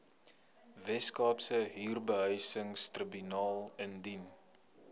weskaapse huurbehuisingstribunaal indien